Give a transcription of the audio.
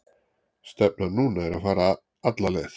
Stefnan núna er að fara alla leið.